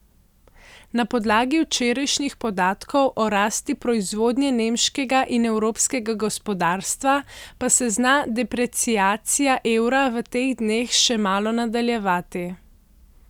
Na podlagi včerajšnjih podatkov o rasti proizvodnje nemškega in evropskega gospodarstva pa se zna depreciacija evra v teh dneh še malo nadaljevati.